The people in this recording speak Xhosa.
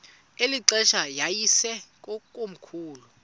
eli xesha yayisekomkhulu